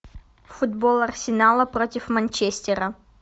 футбол арсенала против манчестера